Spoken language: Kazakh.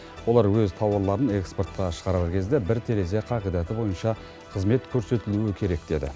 олар өз тауарларын экспортқа шығарар кезде бір терезе қағидаты бойынша қызмет көрсетілу керек деді